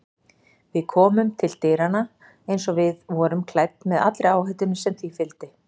Við komum til dyranna eins og við vorum klædd með allri áhættunni sem því fylgdi.